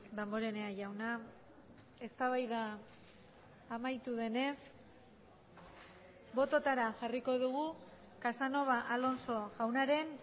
damborenea jauna eztabaida amaitu denez bototara jarriko dugu casanova alonso jaunaren